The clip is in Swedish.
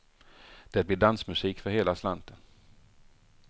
Det blir dansmusik för hela slanten.